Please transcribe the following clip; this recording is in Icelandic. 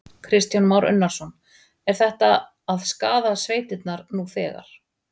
Kristján Már Unnarsson: Er þetta að skaða sveitirnar nú þegar?